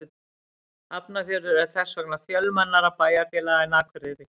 Hafnarfjörður er þess vegna fjölmennara bæjarfélag en Akureyri.